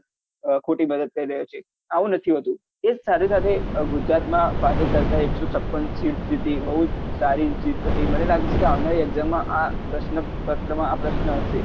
ખોટી મદદ કરી રર્હ્યો છે આવું નથી હોતું એ સાથે સાથે ગુજરાતમાં ભાજપ સરકારે એકસો છપ્પન સીટ જીતી બહુ જ સારી જીત હતી મને લાગે છે કે આવનારી exam મા આં પ્રશ્ન માં આ પ્રશ્ન હશે